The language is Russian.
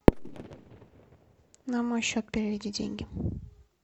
на мой счет переведи деньги